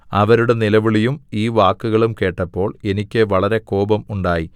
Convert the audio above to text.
അവരുടെ നിലവിളിയും ഈ വാക്കുകളും കേട്ടപ്പോൾ എനിക്ക് വളരെ കോപം ഉണ്ടായി